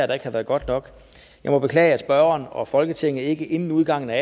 der ikke har været godt nok jeg må beklage at spørgeren og folketinget ikke inden udgangen af